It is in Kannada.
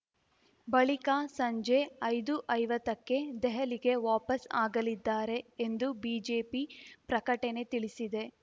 ಬಳಿಕ ಸಂಜೆ ಐದುಐವತ್ತಕ್ಕೆ ದೆಹಲಿಗೆ ವಾಪಸ್‌ ಆಗಲಿದ್ದಾರೆ ಎಂದು ಬಿಜೆಪಿ ಪ್ರಕಟಣೆ ತಿಳಿಸಿದೆ